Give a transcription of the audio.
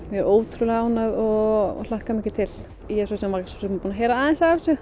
ótrúlega ánægð og hlakka mikið til ég var búin að